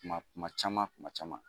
Kuma kuma caman kuma caman.